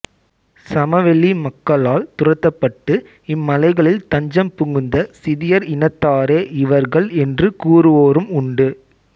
சமவெளி மக்களால் துரத்தப்பட்டு இம் மலைகளில் தஞ்சம் புகுந்த சிதியர் இனத்தாரே இவர்கள் என்று கூறுவோரும் உண்டு